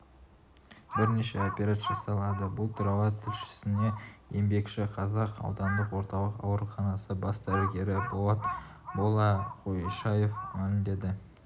бірнеше операция жасалады бұл туралы тілшісіне еңбекшіқазақ аудандық орталық ауруханасы бас дәрігері болат балақойшаев мәлімдеді